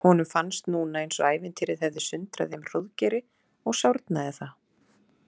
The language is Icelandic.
Honum fannst núna eins og ævintýrið hefði sundrað þeim Hróðgeiri og sárnaði það.